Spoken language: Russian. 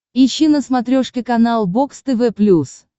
ищи на смотрешке канал бокс тв плюс